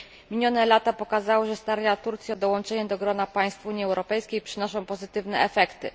Minione lata pokazały, że starania Turcji o dołączenie do grona państw Unii Europejskiej przynoszą pozytywne efekty.